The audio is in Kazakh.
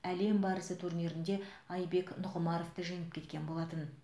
әлем барысы турнирінде айбек нұғымаровты жеңіп кеткен болатын